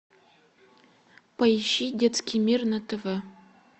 поищи детский мир на тв